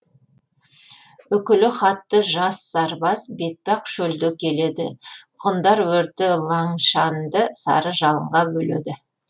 үкілі хатты жас сарбаз бетпақ шөлде келеді ғұндар өрті лаңшанды сары жалынға бөледі